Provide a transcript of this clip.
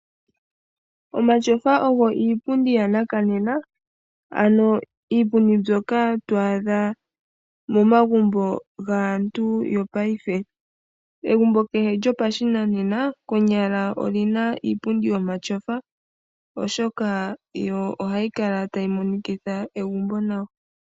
Omatyofa ogo iipumdu yanakanena ano iipumdi mbyoka twaadha momagumbo gaantu yopaife. Egumbo kehe lyopashinanena konyala olina iipundi yomatyofa oshoka yo ohayi kala tayi monikitha egumbo nawa.